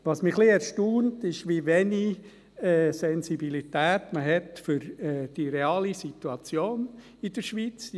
Was mich etwas erstaunt, ist, wie wenig Sensibilität man für die reale Situation in der Schweiz hat.